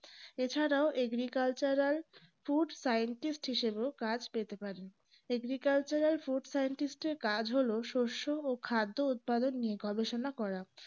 এছাড়াও agricultural food scientist হিসেবেও কাজ পেতে পারেন agricultural food scientist এর কাজ হল শস্য ও খাদ্য উৎপাদন নিয়ে গবেষণা করা